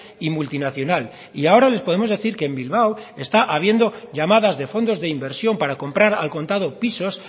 y multinacional y ahora les podemos decir que en bilbao está habiendo llamadas de fondos de inversión para comprar al contado pisos